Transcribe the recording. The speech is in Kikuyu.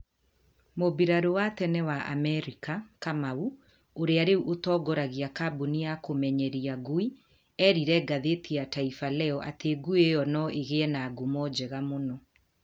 Mũmbirarũ wa tene wa Amerika ,kamau, ũrĩa rĩu ũtongoragia kambuni ya kũmenyeria ngui, eerire ngathĩti ya Taifaleo atĩ ngui ĩyo no ĩgĩe na ngumo njega mũno.